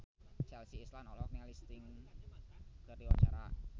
Chelsea Islan olohok ningali Sting keur diwawancara